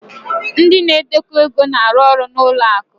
ndị na-edekọ ego na-arụ ọrụ na ụlọ akụ